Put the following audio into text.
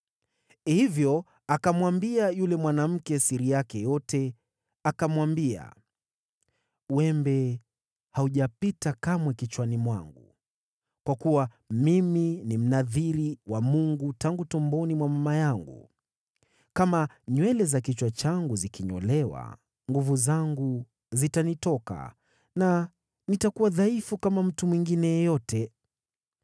Hivyo akamwambia yule mwanamke siri yake yote, akamwambia, “Wembe haujapita kamwe kichwani mwangu, kwa kuwa mimi ni Mnadhiri wa Mungu tangu tumboni mwa mama yangu. Kama nywele za kichwa changu zikinyolewa, nguvu zangu zitanitoka, na nitakuwa dhaifu kama mtu mwingine yeyote!”